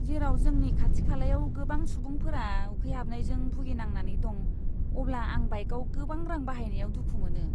जेराव जोंनि खाथि खालायाव गोबां सुबुंफोरा उखैहाबनायजों भुगिनांनानै दं, अब्ला आं बाइकआव गोबां रां बाहायनायाव दुखु मोनो।